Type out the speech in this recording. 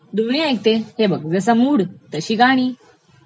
दोन्ही ऐकते, हे बघ, जसा मूड तशी गाणी